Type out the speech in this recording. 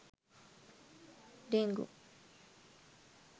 dengu